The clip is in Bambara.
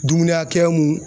Dumuni hakɛya mun